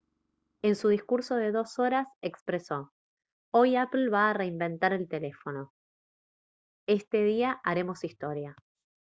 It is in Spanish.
en su discurso de dos horas expresó: «hoy apple va a reinventar el teléfono. este día haremos historia»